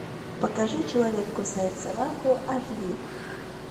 покажи человек кусает собаку аш ди